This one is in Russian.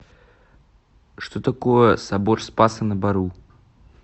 что такое собор спаса на бору